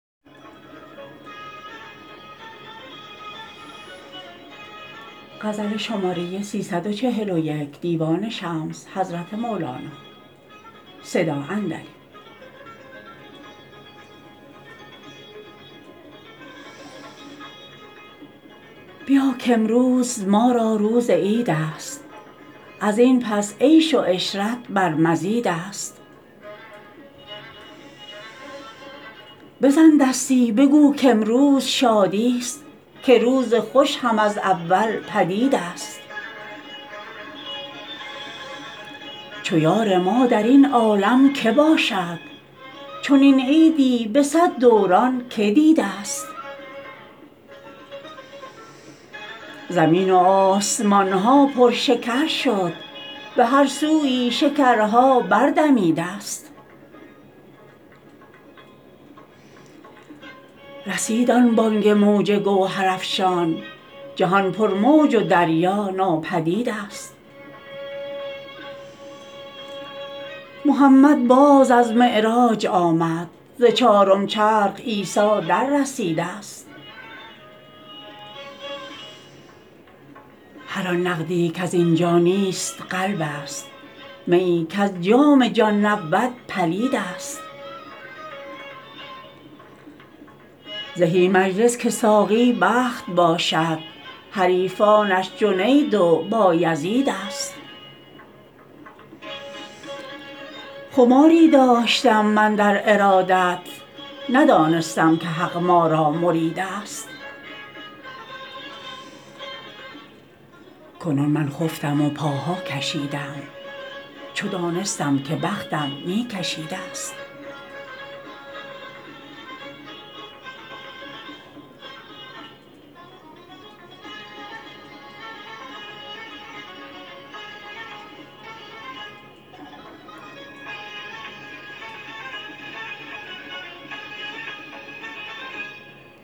بیا کامروز ما را روز عیدست از این پس عیش و عشرت بر مزیدست بزن دستی بگو کامروز شادی ست که روز خوش هم از اول پدیدست چو یار ما در این عالم که باشد چنین عیدی به صد دوران که دیدست زمین و آسمان ها پرشکر شد به هر سویی شکرها بردمیدست رسید آن بانگ موج گوهرافشان جهان پرموج و دریا ناپدیدست محمد باز از معراج آمد ز چارم چرخ عیسی دررسیدست هر آن نقدی کز این جا نیست قلبست میی کز جام جان نبود پلیدست زهی مجلس که ساقی بخت باشد حریفانش جنید و بایزیدست خماری داشتم من در ارادت ندانستم که حق ما را مریدست کنون من خفتم و پاها کشیدم چو دانستم که بختم می کشیدست